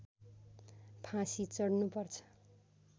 फाँसी चढ्नुपर्छ